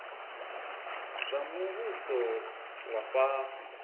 zwa muvhuso zwa vha fhasi